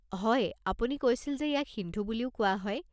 হয়, আপুনি কৈছিল যে ইয়াক সিন্ধু বুলিও কোৱা হয়।